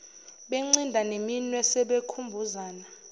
bencinda neminwe sebekhumbuzana